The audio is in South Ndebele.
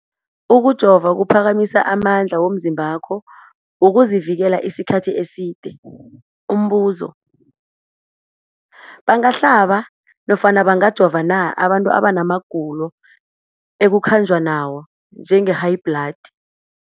Ukujova kuphakamisa amandla womzimbakho wokuzivikela isikhathi eside. Umbuzo, bangahlaba nofana bangajova na abantu abana magulo ekukhanjwa nawo, njengehayibhladi?